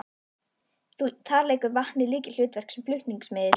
Þar leikur vatnið lykilhlutverk sem flutningsmiðill.